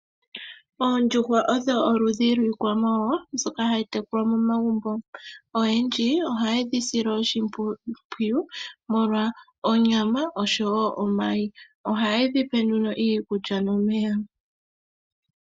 Oondjuhwa olwo oludhi lwiikwamawawa mbyoka hayi tekulwa momagumbo, oyendji ohaye dhi sile oshimpwiyu molwa onyama oshowo omayi ohaye dhi pe nduno iikulya nomeya.